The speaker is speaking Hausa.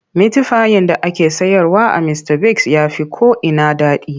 Mitifayin da ake sayarwa a Mistabigs ya fi ko'ina daɗi.